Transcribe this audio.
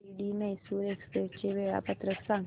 Shirdi Mysore express चे वेळापत्रक सांग